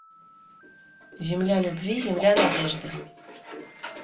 земля любви земля надежды